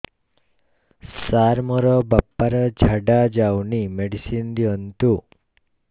ସାର ମୋର ବାପା ର ଝାଡା ଯାଉନି ମେଡିସିନ ଦିଅନ୍ତୁ